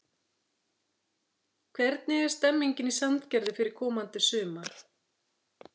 Hvernig er stemmingin í Sandgerði fyrir komandi sumar?